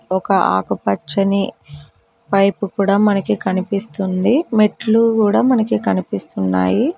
ఒక ఆకుపచ్చని పైప్ కూడా మనకి కనిపిస్తుంది మెట్లు కూడా మనకి కనిపిస్తున్నాయి.